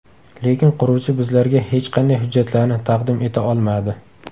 Lekin quruvchi bizlarga hech qanday hujjatlarni taqdim eta olmadi.